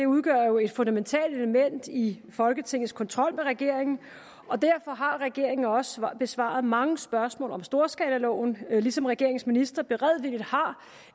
udgør jo et fundamentalt element i folketingets kontrol med regeringen og derfor har regeringen jo også besvaret mange spørgsmål om storskalaloven ligesom regeringens ministre beredvilligt har